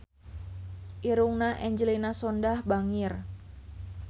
Irungna Angelina Sondakh bangir